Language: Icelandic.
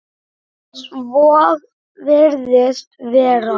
Svo virðist vera.